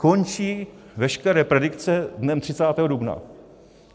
Končí veškeré predikce dnem 30. dubna.